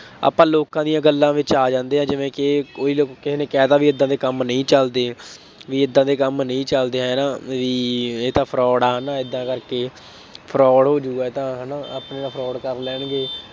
ਆਪਾਂ ਲੋਕਾਂ ਦੀਆਂ ਗੱਲਾਂ ਚ ਆ ਜਾਂਦੇ ਹਾਂ ਜਿਵੇਂ ਕਿ ਕੋਈ ਲੋਕ ਕਿਸੇ ਨੇ ਕਹਿ ਤਾ ਬਈ ਏਦਾਂ ਦੇ ਕੰਮ ਨਹੀਂ ਚੱਲਦੇ, ਬਈ ਏਦਾਂ ਦੇ ਕੰਮ ਨਹੀਂ ਚੱਲਦੇ, ਹੈ ਨਾ, ਬਈ ਇਹ ਤਾਂ fraud ਆ, ਹੈ ਨਾ, ਏਦਾਂ ਕਰਕੇ fraud ਹੋ ਜਾਊਗਾ ਇਹ ਤਾਂ ਹੈ ਨਾ ਆਪਣੇ ਨਾਲ ਕਰ ਲੈਣਗੇ।